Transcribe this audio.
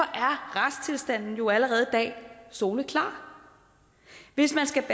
retstilstanden er jo allerede i dag soleklar hvis man skal